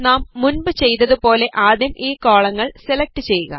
നാം മുൻപ് ചെയ്തതുപോലെ ആദ്യം ഈ കോളങ്ങൾ സെലക്ട് ചെയ്യുക